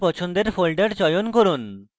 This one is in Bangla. যেখানে আপনি সংরক্ষণ করতে চান সেই folder চয়ন করুন